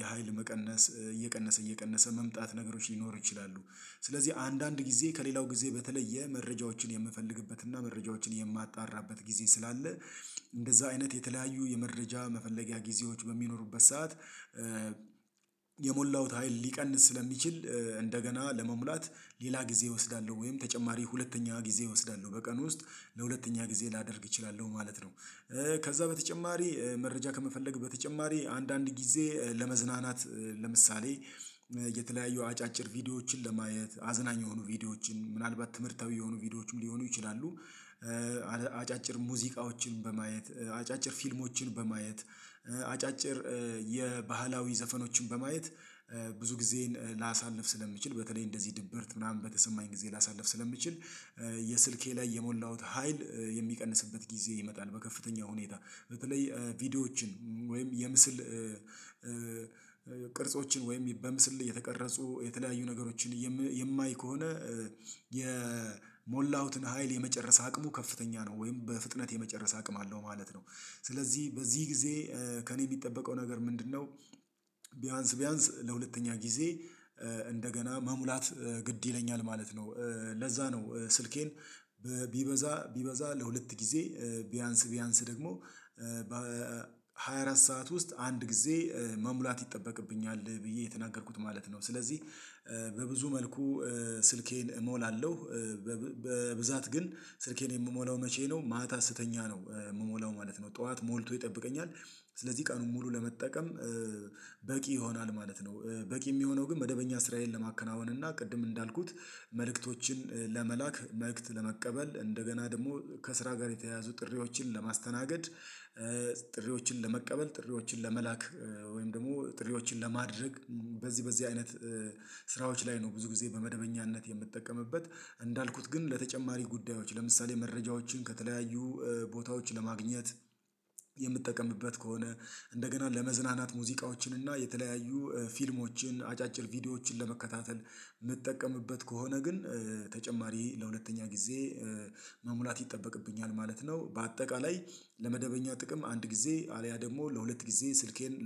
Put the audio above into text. የሀይል መቀነስ እየቀነሰ እየቀነሰ መምጣት ነገሮች ሊኖሩ ይችላሉ። ስለዚህ አንዳንድ ጊዜ ከሌላው ጊዜ በተለየ መረጃዎችን የምፈልግበትና መረጃዎችን የማጣራበት ጊዜ ስላለ እንደዛ አይነት የተለያዩ የመረጃ መፈለጊያ ጊዜዎች በሚኖሩበት ሰዓት የሞላሁት ታይል ሊቀንስ ስለሚችል እንደገና ለመሙላት ሌላ ጊዜ እወስዳለሁ ወይም ተጨማሪ ሁለተኛ ጊዜ እወስዳለሁ በቀን ውስጥ ለሁለተኛ ጊዜ ላደርግ እችላለሁ ማለት ነው። ከዛ በተጨማሪ መረጃ ከመፈልግ በተጨማሪ አንዳንድ ጊዜ ለመዝናናት ለምሳሌ የተለያዩ አጫጭር ቪዲዮዎችን ለማየት አዝናኝ የሆኑ ቪዲዮዎችን ምናልባት ትምህርታዊ የሆኑ ቪዲዮዎችም ሊሆኑ ይችላሉ። አጫጭር ሙዚቃዎችን በማየት አጫጭር ፊልሞችን በማየት አጫጭር የባህላዊ ዘፈኖችን በማየት ብዙ ጊዜን ላሳልፍ ስለምችል በተለይ እንደዚህ ድብርት ምናምን በተሰማኝ ጊዜ ላሳልፍ ስለሚችል የስልኬ ላይ የሞላሁት ሀይል የሚቀንስበት ጊዜ ይመጣል በከፍተኛ ሁኔታ በተለይ ቪዲዮዎችን ወይም የምስል ቅርጾችን ወይም በምስል የተቀረጹ የተለያዩ ነገሮችን የማይ ከሆነ የሞላሁትን ሀይል የመጨረስ አቅሙ ከፍተኛ ነው ወይም በፍጥነት የመጨረስ አቅም አለው ማለት ነው። ስለዚህ በዚህ ጊዜ ከእኔ የሚጠበቀው ነገር ምንድነው? ቢያንስ ቢያንስ ለሁለተኛ ጊዜ እንደገና መሙላት ግድ ይለኛል ማለት ነው። ለዛ ነው ስልኬን ቢበዛ ቢበዛ ለሁለት ጊዜ ቢያንስ ቢያንስ ደግሞ በሃያ አራት ሰዓት ውስጥ አንድ ጊዜ መሙላት ይጠበቅብኛል ብዬ የተናገርኩት ማለት ነው። ስለዚህ በብዙ መልኩ ስልኬን እሞላለሁ። በብዛት ግን ስልኬን የምሞላው መቼ ነው ማህታ ስተኛ ነው የምሞላው ማለት ነው። ጠዋት ሞልቶ ይጠብቀኛል ስለዚህ ቀኑን ሙሉ ለመጠቀም በቂ ይሆናል ማለት ነው። በቂ የሚሆነው ግን መደበኛ ስራየንን ለማከናወን እና ቅድም እንዳልኩት መልእክቶችን ለመላክ መልእክት ለመቀበል እንደገና ደግሞ ከስራ ጋር የተያያዙ ጥሪዎችን ለማስተናገድ ጥሪዎችን ለመቀበል ጥሪዎችን ለመላክ ወይም ደግሞ ጥሪዎችን ለማድረግ በዚህ በዚህ አይነት ስራዎች ላይ ነው ብዙ ጊዜ በመደበኛነት የምጠቀምበት እንዳልኩት ግን ለተጨማሪ ጉዳዮች ለምሳሌ መረጃዎችን ከተለያዩ ቦታዎች ለማግኘት የምትጠቀምበት ከሆነ እንደገና ለመዝናናት ሙዚቃዎችን እና የተለያዩ ፊልሞችን አጫጭር ቪዲዮዎችን ለመከታተል የምንጠቀምበት ከሆነ ግን ተጨማሪ ለሁለተኛ ጊዜ መሙላት ይጠበቅብኛል ማለት ነው። በአጠቃላይ ለመደበኛ ጥቅም አንድ ጊዜ አልያ ደግሞ ለሁለት ጊዜ ስልኬን